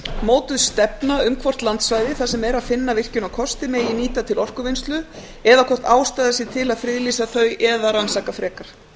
mótuð stefna um hvort landsvæði þar sem er að finna virkjunarkosti megi nýta til orkuvinnslu eða hvort ástæða sé til að friðlýsa þau eða rannsaka frekar